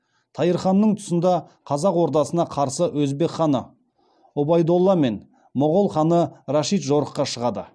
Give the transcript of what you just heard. тайыр ханның тұсында қазақ ордасына қарсы өзбек ханы ұбайдолла мен моғол ханы рәшид жорыққа шығады